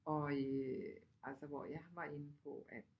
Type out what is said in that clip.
Og øh altså hvor jeg var inde på at